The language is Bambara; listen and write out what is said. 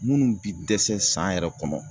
Munnu bi dɛsɛ san yɛrɛ kɔnɔ